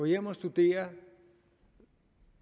hjem og studere